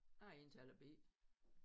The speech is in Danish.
Jeg er indtaler B